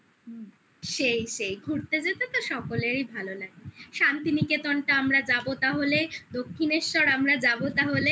সেই সেই ঘুরতে যেতে তো সকলেরই ভালো লাগে শান্তিনিকেতনটা আমরা যাবো তাহলে দক্ষিনেশ্বর আমরা যাবো তাহলে